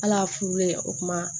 Hal'a furulen o kuma